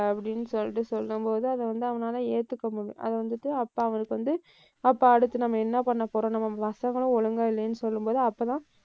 அப்படின்னு சொல்லிட்டு, சொல்லும்போது அதை வந்து அவனால ஏத்துக்க முடியல, அதை வந்துட்டு அப்ப அவனுக்கு வந்து அப்ப அடுத்து நம்ம என்ன பண்ணப்போறோம்? நம்ம பசங்களும் ஒழுங்கா இல்லைன்னு சொல்லும்போது அப்பதான்,